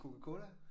Coca-cola